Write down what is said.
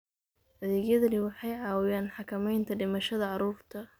Adeegyadani waxay caawiyaan xakamaynta dhimashada carruurta.